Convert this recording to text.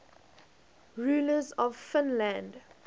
rulers of finland